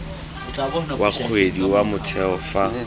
wa kgwedi wa motheo fa